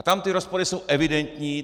A tam ty rozpory jsou evidentní.